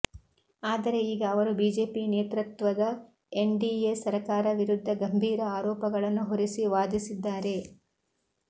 ಆದರೆ ಈಗ ಅವರು ಬಿಜೆಪಿ ನೇತೃತ್ವದ ಎನ್ಡಿಎ ಸರಕಾರ ವಿರುದ್ಧ ಗಂಭೀರ ಆರೋಪಗಳನ್ನು ಹೊರಿಸಿ ವಾದಿಸಿದ್ದಾರೆ